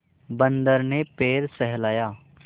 बंदर ने पैर सहलाया